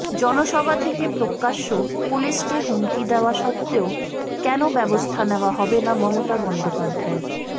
জনসভা থেকে প্রকাশ্যে পুলিশকে হুমকি দেওয়া সত্ত্বেও কেন ব্যবস্থা নেওয়া হবে না মমতা বন্দ্যোপাধ্যায়ের